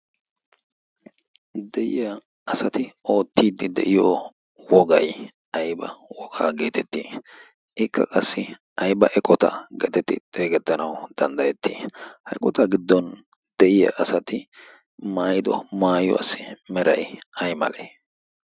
de'iya asati oottiiddi de'iyo wogay ayba wogaa geetettii ikka qassi aiba eqota geetetti xeegetdanau danddayettii hayqotaa giddon deyiya asati maayido maayiyo assi meray ay malee?